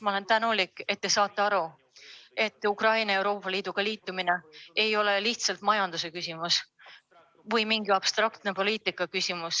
Ma olen tänulik, et te saate aru, et Ukraina Euroopa Liiduga ühinemine ei ole lihtsalt majandusküsimus või mingi abstraktne poliitikaküsimus.